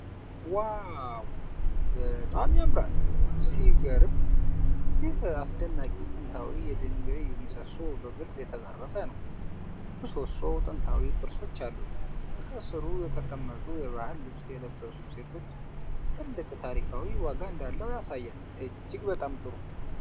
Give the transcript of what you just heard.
ዋው፣ በጣም ያምራል! ሲገርም! ይህ አስደናቂ ጥንታዊ የድንጋይ ምሰሶ በግልጽ የተቀረጸ ነው። ምሰሶው ጥንታዊ ቅርጾች አሉት። ከሥሩ የተቀመጡ የባህል ልብስ የለበሱ ሴቶች ትልቅ ታሪካዊ ዋጋ እንዳለው ያሳያል። እጅግ በጣም ጥሩ!